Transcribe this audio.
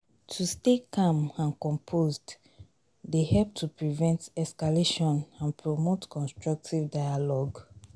to stay calm and composed dey help to prevent escalation and promote constructive dialogue.